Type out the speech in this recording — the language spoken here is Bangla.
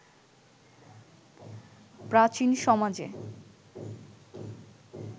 প্রাচীন সমাজে